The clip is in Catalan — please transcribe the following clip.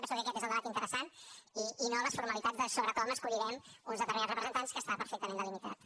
penso que aquest és el debat interessant i no les formalitats sobre com escollirem uns determinats representants que estan perfectament delimitades